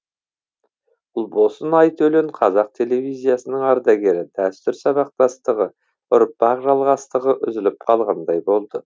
ұлбосын айтөлен қазақ телевизиясының ардагері дәстүр сабақтастығы ұрпақ жалғастығы үзіліп қалғандай болды